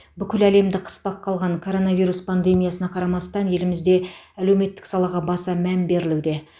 бүкіл әлемді қыспаққа алған коронавирус пандемиясына қарамастан елімізде әлеуметтік салаға баса мән берілуде